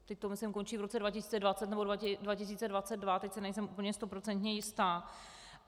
Teď to myslím končí v roce 2020 nebo 2022, teď si nejsem úplně stoprocentně jistá.